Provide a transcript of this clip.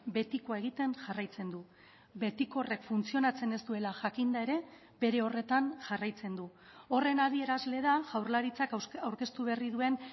betikoa egiten jarraitzen du betiko horrek funtzionatzen ez duela jakinda ere bere horretan jarraitzen du horren adierazle da jaurlaritzak aurkeztu berri duen